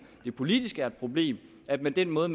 det politisk er et problem at med den måde